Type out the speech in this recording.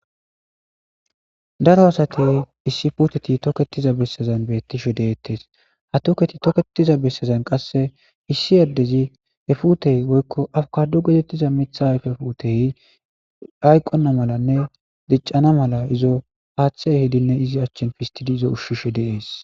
daro asati issi puteti toketiza bessezan beettishe deettes ha toketi tokketiza bessezan qasse issi yaddezi he futey woykko afukadu gedettiza mitha ayfe putey hayqonna malanne diccana mala izo haaththe ehidinne izi achchan fistishe izo ushshishe de'ees